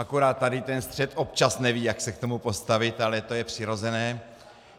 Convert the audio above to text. Akorát tady ten střed občas neví, jak se k tomu postavit, ale to je přirozené.